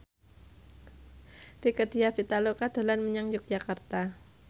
Rieke Diah Pitaloka dolan menyang Yogyakarta